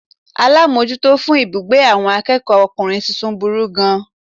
Alámójútó fún ibùgbé àwon akéèkó okùnrin tuntun burú gan an